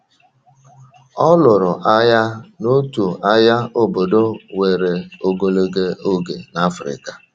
Ọ lụrụ agha n’otu agha obodo were ogologo oge n’Africa..